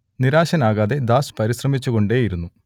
നിരാശനാകാതെ Das പരിശ്രമിച്ചുകൊണ്ടേയിരുന്നു